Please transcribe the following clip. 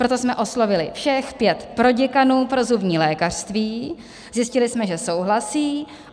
Proto jsme oslovili všech pět proděkanů pro zubní lékařství, zjistili jsme, že souhlasí.